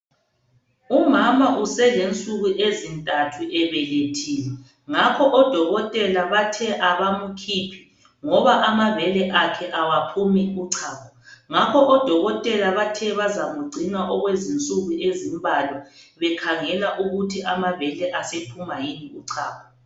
Umama uselensuku ezintathu ebelethile ngakho omama bathe abamkhuphi ngoba amabele akhe akaphumi uchago ngapho odokotela abathe bazamngcina okwensuku ezimbalwa bekhangela ukuthi amabele asephuma yimi uchago